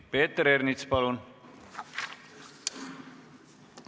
Peeter Ernits, palun!